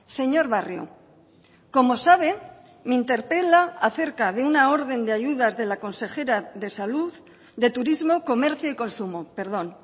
señor barrio como sabe me interpela acerca de una orden de ayudas de la consejera de salud de turismo comercio y consumo perdón